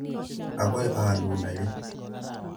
Akoi a alun ake.